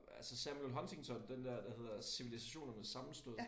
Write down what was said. Altså Samuel Huntington den dér der hedder cilvilisationernes sammenstød